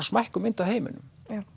smækkuð mynd af heiminum